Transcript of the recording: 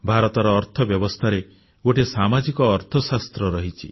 ଭାରତର ଅର୍ଥବ୍ୟବସ୍ଥାରେ ଗୋଟିଏ ସାମାଜିକ ଅର୍ଥଶାସ୍ତ୍ର ରହିଛି